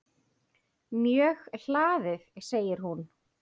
Mjög hlaðið segir hún.